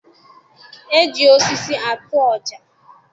E ji osisi atụ ọja.